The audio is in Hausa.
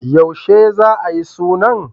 Yaushe za a yi suna?